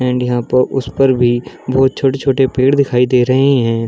And यहाँ पर उस पर भी बोहत छोटे-छोटे पेड़ दिखाई दे रहें हैं।